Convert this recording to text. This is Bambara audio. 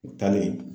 U taalen